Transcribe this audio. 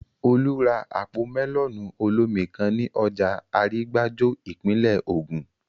Olú ra àpò mẹ́lọ̀nù olómi kan ní ọjà Arígbájó, ìpínlè Ògùn